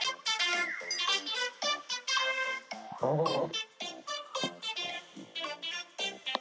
Hún skerðist í sama hlutfalli og tekjutrygging.